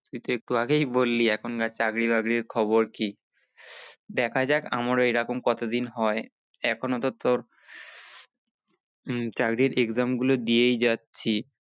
তুই তো একটু আগেই বললি এখন কার চাকরির বাকরির খবর কি দেখা যাক আমার এরকম কত দিন হয়, এখনো তো তোর চাকরির exam গুলো দিয়েই যাচ্ছি।